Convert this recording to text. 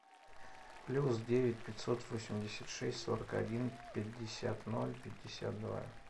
плюс девять пятьсот восемьдесят шесть сорок один пятьдесят пятьдесят два